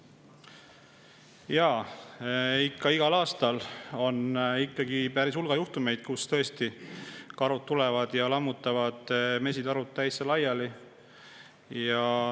Jaa, ikka igal aastal on hulga juhtumeid, kus karud tulevad ja lammutavad mesitarud täitsa laiali.